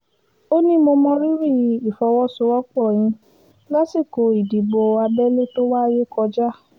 ó ní mo mọ rírì ìfọwọ́sowọ́pọ̀ yín lásìkò ìdìbò abẹ́lé tó wáyé kọjá